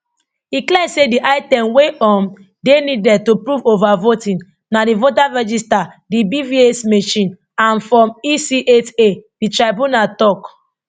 e clear say di item wey um dey needed to prove overvoting na di voters register di bvas machine and form ec eight a di tribunal tok